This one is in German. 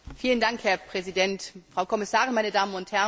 Herr Präsident, Frau Kommissarin, meine Damen und Herren!